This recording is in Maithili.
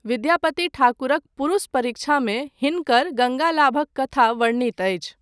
विद्यापति ठाकुरक पुरुष परीक्षामे हिनकर गङ्गालाभक कथा वर्णित अछि।